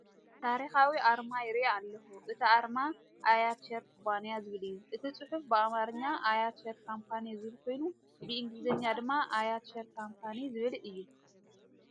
ታሪኻዊ ኣርማ ይርኢ ኣለኹ! እቲ ኣርማ "ኣያት ሼር ኩባንያ" ዝብል እዩ። እቲ ጽሑፍ ብኣምሓርኛ "Ayat Share Company" ዝብል ኮይኑ፡ ብእንግሊዝኛ ድማ "AYAT SHARE COMPANY" ዝብል እዩ።